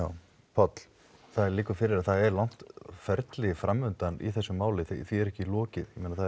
Páll það liggur fyrir að það er langt ferli í þessu máli því er ekki lokið það